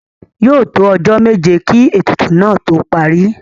Yóò tó ọjọ́ méje kí ètùtù náà tó parí.